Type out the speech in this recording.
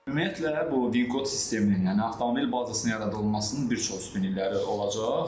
Ümumiyyətlə, bu VIN kod sisteminin, yəni avtomobil bazasının yaradılmasının bir çox üstünlükləri olacaq.